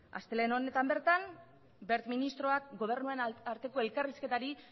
astelehen honetan bertan wert ministroak gobernuen arteko elkarrizketari